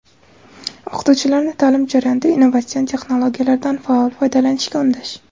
o‘qituvchilarni taʼlim jarayonida innovatsion texnologiyalardan faol foydalanishga undash.